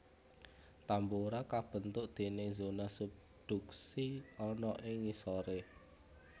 Tambora kabentuk déning zona subduksi ana ing ngisoré